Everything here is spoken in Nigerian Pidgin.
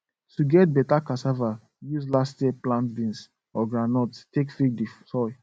to get beta cassava use last year plant beans or groundnut take feed the soil